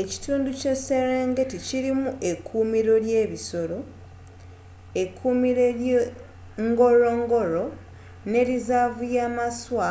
ekitundu ky'eserengeti kilimu ekuumiro ly'ebisoro ekuumiro ly'e ngorongoro nelizaavu ye maswa